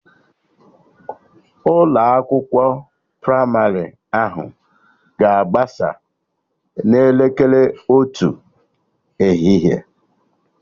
Ụlọ akwụkwọ pramarị ahụ ga-agbasa n'elekere otu ehihie